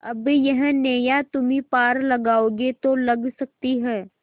अब यह नैया तुम्ही पार लगाओगे तो लग सकती है